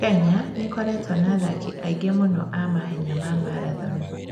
Kenya nĩ ĩkoretwo na athaki aingĩ mũno a mahenya ma marathoni.